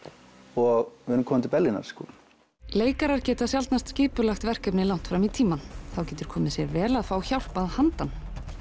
og við erum komin til Berlínar sko leikarar geta sjaldnast skipulagt verkefni langt fram í tímann þá getur komið sér vel að fá hjálp að handan